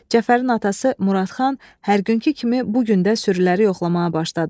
Cəfərin atası Muradxan hər günkü kimi bu gün də sürüləri yoxlamağa başladı.